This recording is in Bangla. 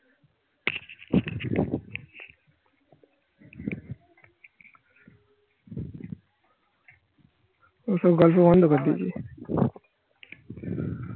ওসব গল্প বন্ধ করে দিয়েছি